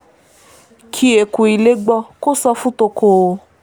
kí eku ilé gbọ́ kó sọ fún toko o